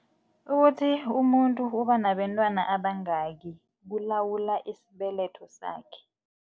Ukuthi umuntu uba nabentwana abayingaki kulawula isibeletho sakhe.